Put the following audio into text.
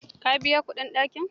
Ka biya kuɗin ɗakin?